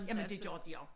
Jamen det gør de også